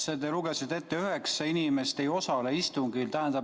Sa lugesid ette, et üheksa inimest ei osale istungil.